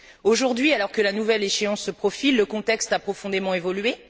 Aujourd'hui, alors que la nouvelle échéance se profile, le contexte a profondément évolué.